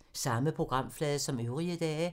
Samme programflade som øvrige dage